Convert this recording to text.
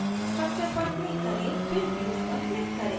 structure पर click करें फिर views पर click करें